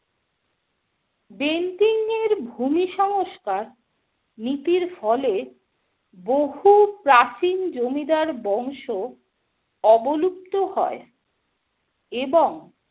Bentinck এর ভূমি সংস্কার নীতির ফলে বহু প্রাচীন জমিদার বংশ অবলুপ্ত হয়, এবং